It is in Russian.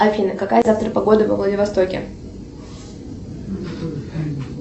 афина какая завтра погода во владивостоке